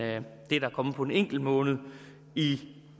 det der er kommet på en enkelt måned i